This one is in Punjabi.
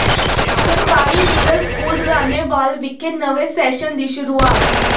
ਸਰਕਾਰੀ ਮਿਡਲ ਸਕੂਲ ਰਾਣੇਵਾਲ ਵਿਖੇ ਨਵੇਂ ਸੈਸ਼ਨ ਦੀ ਸ਼ੁਰੂਆਤ